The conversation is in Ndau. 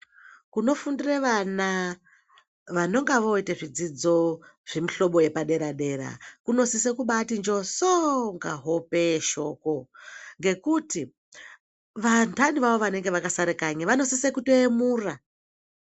Kunofundire vana vanonge voita zvidzidzo zvemuhlobo yepaderadera kunosise kumbaati njosoo kunga hope yeshoko ngekuti vandani vavo vanenge vakasara kanyi vanosise kutoyemura.